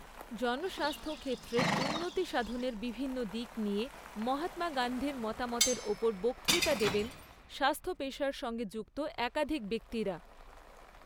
জনস্বাস্থ্য ক্ষেত্রের উন্নতিসাধণের বিভিন্ন দিক নিয়ে মহাত্মা গান্ধীর মতামতের ওপর বক্তৃতা দেবেন স্বাস্থ্য পেশার সঙ্গে যুক্ত একাধিক ব্যক্তিরা।